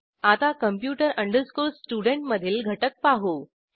आता computer studentमधील घटक पाहू